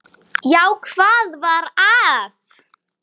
Já, hvað var að?